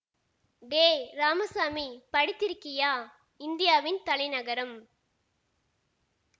டேய் ராமசாமி படித்திருக்கையா இந்தியாவின் தலைநகரம்